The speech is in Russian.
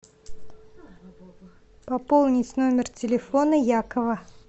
пополнить номер телефона якова